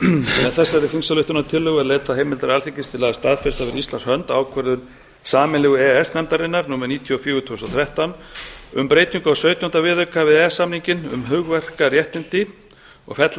með þessari þingsályktunartillögu er leitað heimildar alþingis til að staðfesta fyrir íslands hönd ákvörðun sameiginlegu e e s nefndarinnar númer níutíu og fjögur tvö þúsund og þrettán um breytingu á sautjánda viðauka við e e s samninginn um hugverkaréttindi og fella